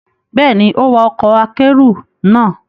Bẹ́ẹ̀ ni, ó wa ọkọ̀ akẹ́rù náà